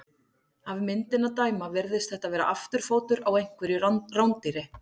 Af myndinni að dæma virðist þetta vera afturfótur á einhverju rándýri.